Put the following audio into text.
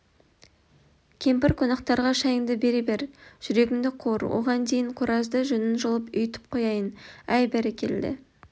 кемпір қонақтарға шайыңды бере бер жүгеріңді қуыр оған дейін қораздың жүнін жұлып үйітіп қояйын әй бәрекелді